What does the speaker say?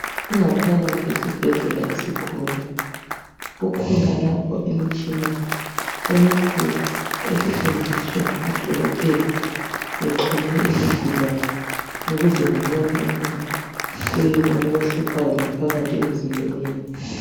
Ingaphakathi yesibhedlela esikhulu .Kukhona lapho imtshina emikhulu esetshenziswa ngodokotela bexhume izigulane ukuze babone ukuba kuyini okuhluphayo ngaphakathi emzimbeni .